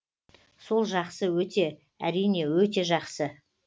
сол жақсы өте әрине өте жақсы